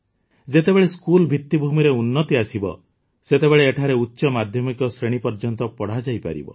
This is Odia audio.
ଯେତେବେଳେ ସ୍କୁଲ୍ ଭିତ୍ତିଭୂମିରେ ଉନ୍ନତି ଆସିବ ସେତେବେଳେ ଏଠାରେ ଉଚ୍ଚ ମାଧ୍ୟମିକ ଶ୍ରେଣୀ ପର୍ଯ୍ୟନ୍ତ ପଢ଼ାଯାଇପାରିବ